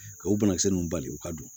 Ka o banakisɛ ninnu bali u ka don